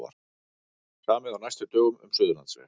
Samið á næstu dögum um Suðurlandsveg